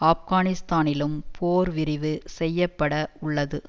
ஆப்கானிஸ்தானிலும் போர் விரிவு செய்ய பட உள்ளது